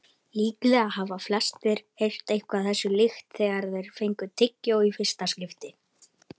Líklega hafa flestir heyrt eitthvað þessu líkt þegar þeir fengu tyggjó í fyrsta skipti.